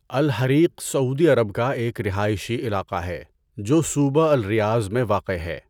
الحریق سعودی عرب کا ایک رہائشی علاقہ ہے جو صوبہ الریاض میں واقع ہے۔